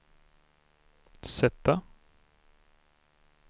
sätta